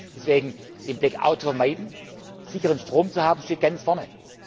Deswegen Den Blackout vermeiden, sicheren Strom zu haben, steht ganz vorne.